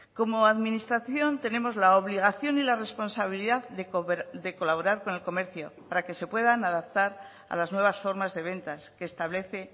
como administración tenemos la obligación y la responsabilidad de colaborar con el comercio para que se puedan adaptar a las nuevas formas de ventas que establece